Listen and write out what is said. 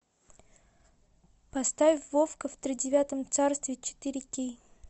поставь вовка в тридевятом царстве четыре кей